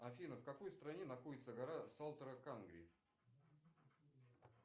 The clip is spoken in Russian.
афина в какой стране находится гора салторо кангри